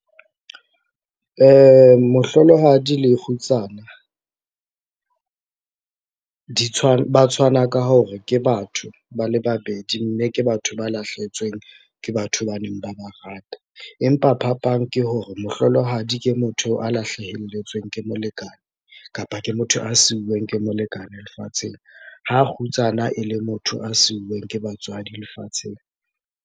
Mohlolohadi le kgutsana, ba tshwana ka hore ke batho ba le babedi mme ke batho ba lahlehetsweng ke batho ba neng ba ba rata. Empa phapang ke hore mohlolohadi ke motho a lahlahelletsweng ke molekane kapa ke motho a siuweng ke molekane lefatsheng, ha kgutsana e le motho a siuweng ke batswadi.